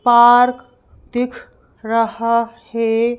Park दिख रहा है।